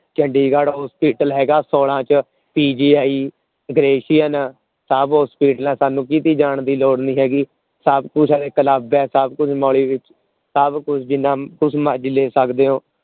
Chandigarh hospital ਹੈਗਾ ਸੋਲਾਂ ਚ AsianPGI ਸਭ Hospital ਹੈ ਸਾਨੂੰ ਕੀਤੇ ਜਾਂ ਦੀ ਲੋੜ ਨੀ ਹੈਗੀ ਸਭ ਕੁਛ ਉਪਲਦਭ ਹੈ ਸਭ ਕੁਛ ਵਿਚ ਸਭ ਕੁਛ ਜਿੰਨਾ ਕੁਛ ਮਰਜੀ ਲੈ ਸਕਦੇ ਹੋ